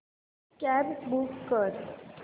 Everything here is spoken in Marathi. कॅब बूक कर